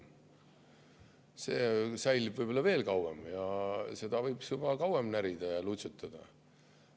See säilib võib-olla veel kauem ja seda võiks kauem närida ja lutsutada.